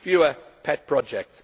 fewer pet projects